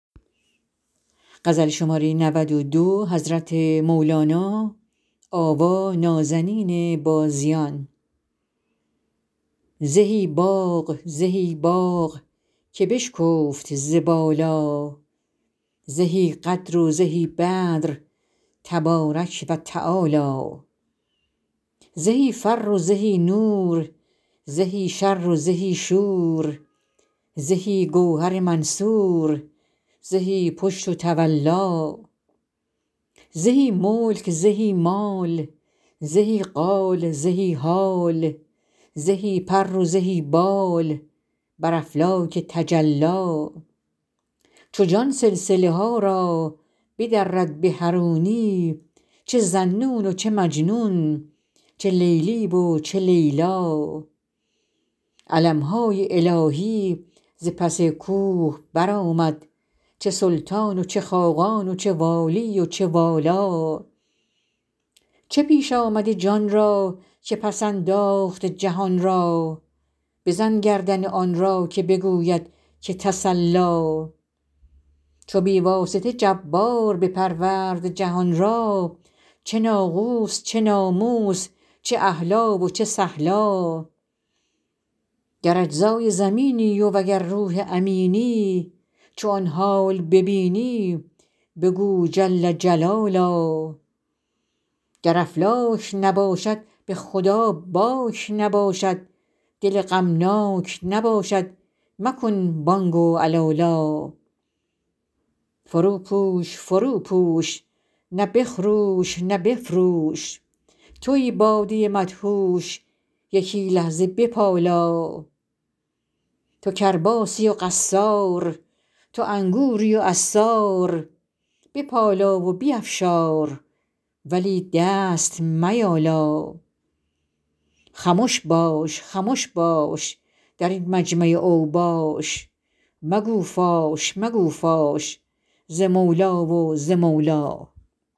زهی باغ زهی باغ که بشکفت ز بالا زهی قدر و زهی بدر تبارک و تعالی زهی فر زهی نور زهی شر زهی شور زهی گوهر منثور زهی پشت و تولا زهی ملک زهی مال زهی قال زهی حال زهی پر و زهی بال بر افلاک تجلی چو جان سلسله ها را بدرد به حرونی چه ذاالنون چه مجنون چه لیلی و چه لیلا علم های الهی ز پس کوه برآمد چه سلطان و چه خاقان چه والی و چه والا چه پیش آمد جان را که پس انداخت جهان را بزن گردن آن را که بگوید که تسلا چو بی واسطه جبار بپرورد جهان را چه ناقوس چه ناموس چه اهلا و چه سهلا گر اجزای زمینی وگر روح امینی چو آن حال ببینی بگو جل جلالا گر افلاک نباشد به خدا باک نباشد دل غمناک نباشد مکن بانگ و علالا فروپوش فروپوش نه بخروش نه بفروش توی باده مدهوش یکی لحظه بپالا تو کرباسی و قصار تو انگوری و عصار بپالا و بیفشار ولی دست میالا خمش باش خمش باش در این مجمع اوباش مگو فاش مگو فاش ز مولی و ز مولا